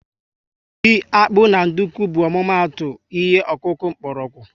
Ji, akpu na nduku bu ọmụma atụ ihe okuku mkpórógwu